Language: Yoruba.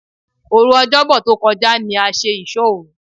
Òru Ọ̀jọ́bọ̀ tó kọjá ní a ṣe ìsóòru.